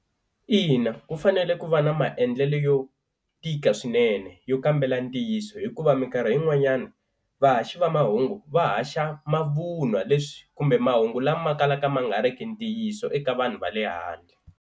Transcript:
Ina ku fanele ku va na maendlelo yo tika swinene yo kambela ntiyiso hikuva minkarhi yin'wanyani vahaxi va mahungu va haxa mavun'wa leswi kumbe mahungu lama kalaka ma nga ri ki ntiyiso eka vanhu va le handle.